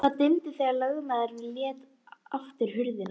Stórviðburðir eru aldrei eins merkilegir þegar maður sjálfur er fjarstaddur.